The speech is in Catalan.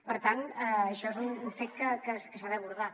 per tant això és un fet que s’ha d’abordar